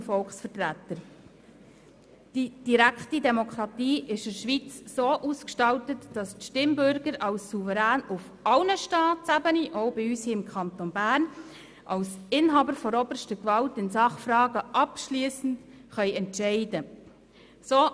Die direkte Demokratie ist in der Schweiz so ausgestaltet, dass die Stimmbürger als Souverän auf allen Staatsebenen, auch bei uns im Kanton Bern, als Inhaber der obersten Gewalt in Sachfragen abschliessend entscheiden können.